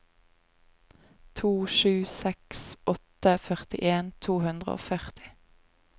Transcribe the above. to sju seks åtte førtien to hundre og førti